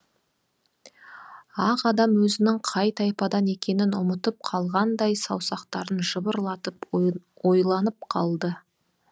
ақ адам өзінің қай тайпадан екенін ұмытып қалғандай саусақтарын жыбырлатып ойланып қалды